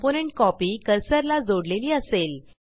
component copy cursor ला जोडलेली असेल